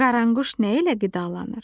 Qaranquş nə ilə qidalanır?